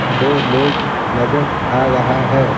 दो लोग नजर आ रहा है.